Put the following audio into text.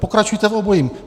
Pokračujte v obojím.